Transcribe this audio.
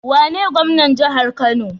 Wane gwamnan jahar kano?